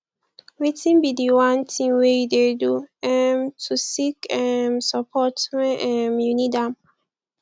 wetin be di one thing wey you dey do um to seek um support when um you need am